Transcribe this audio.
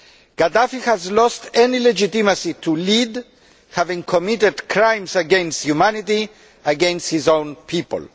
Gaddafi has lost any legitimacy to lead, having committed crimes against humanity, against his own people.